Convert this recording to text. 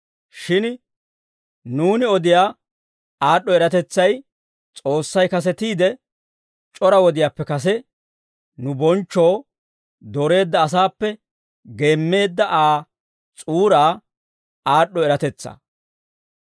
Shin nuuni odiyaa aad'd'o eratetsay, S'oossay kasetiide, c'ora wodiyaappe kase nu bonchchoo dooreedda asaappe geemmeedda Aa s'uuraa aad'd'o eratetsaa.